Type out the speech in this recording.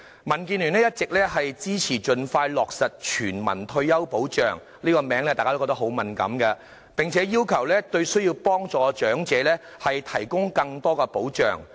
民建聯一直支持盡快落實全民退休保障——這是個敏感的議題——並要求對需要幫助的長者提供更多保障。